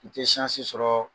I tɛ sɔrɔ